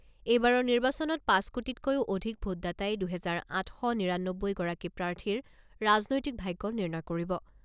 এইবাৰৰ নিৰ্বাচনত পাঁচ কোটিটকৈও অধিক ভোটদাতাই দুহেজাৰ আঠ শ নিৰানব্বৈগৰাকী প্ৰাৰ্থীৰ ৰাজনৈতিক ভাগ্য নিৰ্ণয় কৰিব।